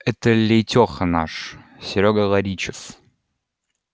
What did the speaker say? это лейтёха наш серёга ларичев